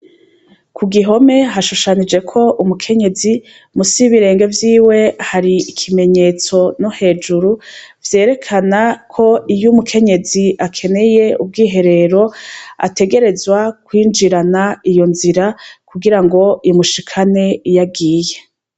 Kugihome hashushanijeko umukenyezi musi yibirenge vyiwe hari ikimenyetso no hejuru vyerekana ko iyumukenyezi akeneye ubwiherero ategerezwa kwinjirana iyo nzira kugirango imushikane iyagiye